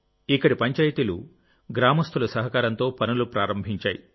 ఇక్కడి పంచాయతీలు గ్రామస్తుల సహకారంతో పనులు ప్రారంభించాయి